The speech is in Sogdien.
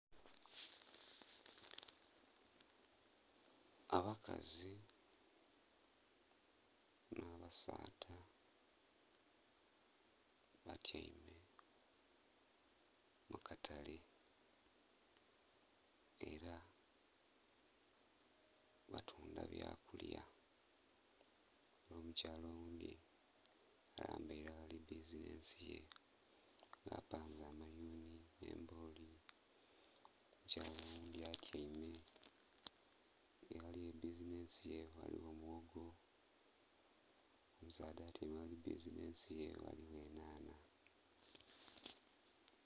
Abakazi nha basaadha batyaime mukatale era batundha bya kulya era omukyala oghundhi alambaire aghali bizinhensi ye gha panze ayunhi nhe emboli, omukyala oghundhi atyaime aghali bizinhensi ye ghaligho mwoogo, omusaadha atyaime aghali bizinhensi ye ghaligho enhanha.